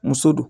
Muso do